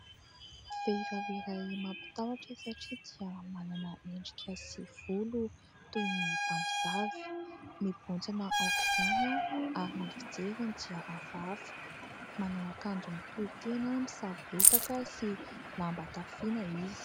Vehivavy iray mampitahotra satria dia manana endrika sy volo toy ny mpamosavy. Mimbotsina aok'izany ary ny fijeriny dia hafahafa. Manao akanjo mitohitena misavoritaka sy lamba tafiana izy.